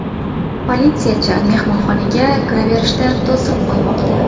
Politsiyachi mehmonxonaga kiraverishga to‘siq qo‘ymoqda.